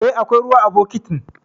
E, akwai ruwa a bokitin.